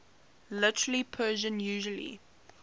literary persian usually